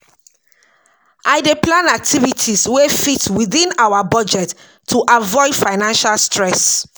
I dey plan activities wey fit within our budget to avoid financial stress.